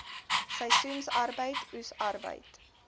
seisoensarbeid oes arbeid